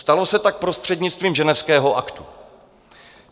Stalo se tak prostřednictvím Ženevského aktu.